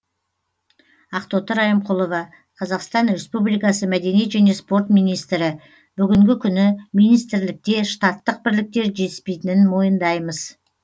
ақтоты райымқұлова қазақстан республикасы мәдениет және спорт министрі бүгінгі күні министрлікте штаттық бірліктер жетіспейтінін мойындаймыз